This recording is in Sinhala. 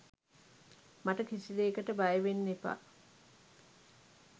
මට කිසිදේකට බය වෙන්න එපා